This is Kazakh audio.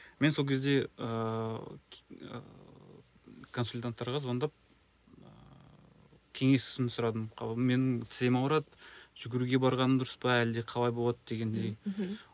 мен сол кезде ыыы ыыы консультанттарға звондап ыыы кеңесін сұрадым менің тізем ауырады жүгіруге барғаным дұрыс па әлде қалай болады дегендей мхм